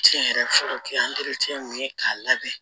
Tiɲɛ yɛrɛ fɔlɔ kɛ mun ye k'a labɛn